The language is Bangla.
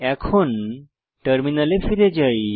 এখন টার্মিনালে ফিরে যাই